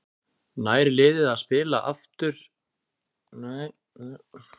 Nær liðið að spila áfram sama skemmtilega sóknarboltann?